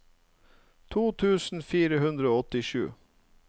to tusen fire hundre og åttisju